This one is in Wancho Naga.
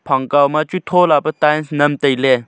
phang kow ma chu tho lah pe tiles nam tai ley.